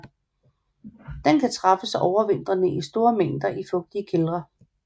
Den kan træffes overvintrende i store mængder i fugtige kældre